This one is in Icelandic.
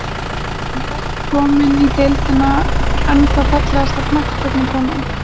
Hann er ekki kominn í deildina, ennþá Fallegasta knattspyrnukonan?